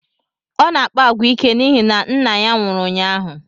Ọ na-akpa agwa ike n'ihi na nna ya nwụrụ ụnyaahụ